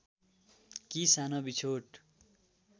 कि सानो बिछोड